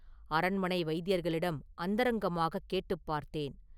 அரண்மனை வைத்தியர்களிடம் அந்தரங்கமாக கேட்டுப் பார்த்தேன்.